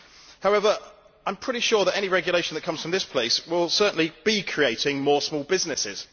However, I am pretty sure that any regulation that comes from this place will certainly be creating more small businesses.